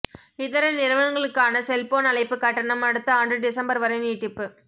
இதர நிறுவனங்களுக்கான செல்போன் அழைப்பு கட்டணம் அடுத்த ஆண்டு டிசம்பர்வரை நீட்டிப்பு